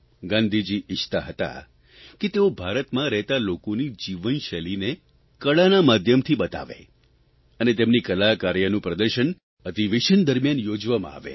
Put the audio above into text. ગાંધીજી ઇચ્છતા હતા કે તેઓ ભારતમાં રહેતા લોકોની જીવનશૈલીને કળાના માધ્યમથી બતાવે અને તેમની કલા કાર્યનું પ્રદર્શન અધિવેશન દરમ્યાન યોજવામાં આવે